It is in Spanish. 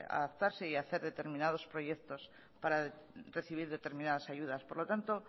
adaptarse y hacer determinados proyectos para recibir determinados ayudas por lo tanto